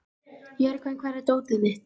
Jörgen, hvar er dótið mitt?